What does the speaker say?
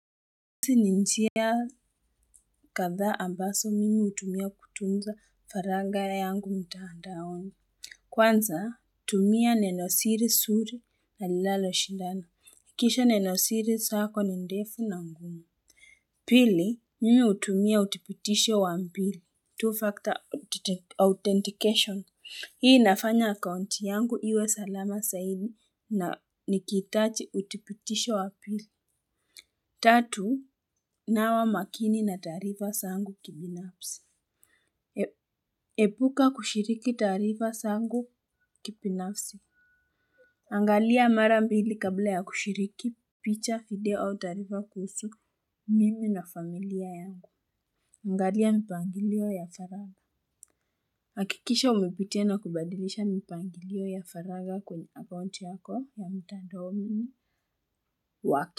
Hizi ni njia kadhaa ambazo mimi hutumia kutunza faranga yangu mtandaoni. Kwanza, tumia neno siri zuri na linaloshindana. Hakikisha neno siri zako ni ndefu na ngumu. Pili, mimi hutumia uthibitisho wa mbili. Two-factor authentification. Hii inafanya account yangu iwe salama zaidi, na nikihitaji uthibitisho wa pili. Tatu, nawa makini na taarifa zangu kibinafsi. Epuka kushiriki taarifa zangu kibinafsi. Angalia mara mbili kabla ya kushiriki, picha, video au taarifa kuhusu mimi na familia yangu. Angalia mpangilio ya faragha. Hakikisha unapitia na kubadilisha mpangilio ya faragha kwenye account yako ya mtandaoni waki.